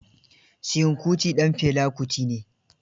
Seun Kuti ɗan Fela Kuti ne.